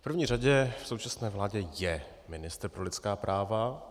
V první řadě v současné vládě je ministr pro lidská práva.